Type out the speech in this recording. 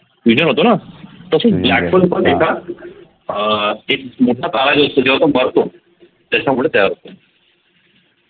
होत न अह एक मोठा तारा जो असतो जेव्हा तो मरतो त्याच्यामुळे तयार होतो